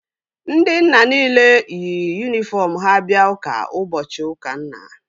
Ndị nna nile yi yunifọm ha bịa ụka ụbọchị ụka nna